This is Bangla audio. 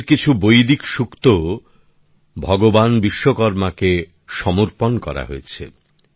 আমাদের কিছু বৈদিক সুক্তও ভগবান বিশ্বকর্মাকে সমর্পণ করা হয়েছে